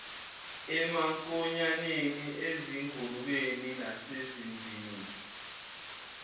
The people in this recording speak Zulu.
emankonyaneni ezingulubeni nasezimvini